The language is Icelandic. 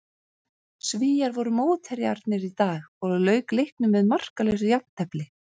Svíar voru mótherjarnir í dag og lauk leiknum með markalausu jafntefli.